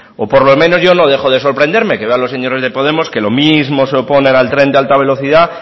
o por lo menos yo no dejo de sorprenderme que veo a los señores de podemos que lo mismo se oponen al tren de alta velocidad